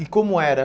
E como era?